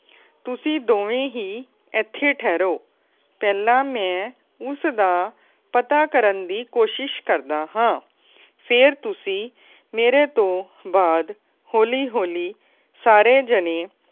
ਤੁਸੀ ਦੋਵੇ ਹੀ ਇੱਥੇ ਠਹਿਰੋ ਪਹਿਲਾ ਮੈ ਉਸ ਦਾ ਪਤਾ ਕਰਨ ਦੀ ਕੋਸ਼ਿਸ਼ ਕਰਦਾ ਹੈ। ਫੇਰ ਤੁਸੀਂ ਮੇਰੇ ਤੋਂ ਬਾਦ ਹੋਲੀ-ਹੋਲੀ ਸਾਰੇ ਜਾਣੇ